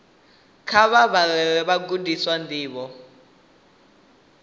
kha vha vhalele vhagudiswa ndivho